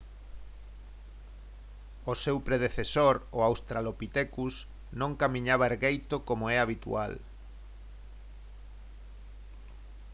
o seu predecesor o australopitecus non camiñaba ergueito como é habitual